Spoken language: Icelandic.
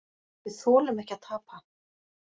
Við þolum ekki að tapa.